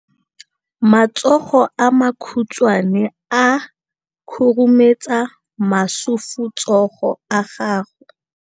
Matsogo a makhutshwane a khurumetsa masufutsogo a gago.